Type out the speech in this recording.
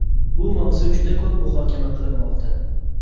Bu mavzu juda ko‘p muhokama qilinmoqda.